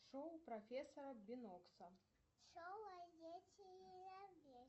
шоу профессора бинокса